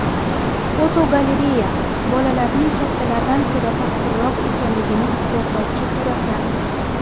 Fotogalereya: Bolalarning kattalardan ko‘ra topqirroq ekanligini isbotlovchi suratlar.